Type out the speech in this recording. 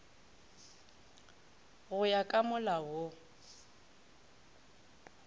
go ya ka molao wo